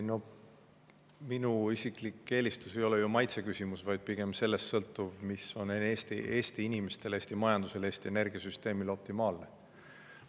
Minu isiklik eelistus ei ole ju maitseküsimus, vaid pigem sellest sõltuv, mis on Eesti inimestele, Eesti majandusele, Eesti energiasüsteemile optimaalne.